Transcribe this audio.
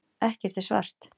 Ekkert er svart.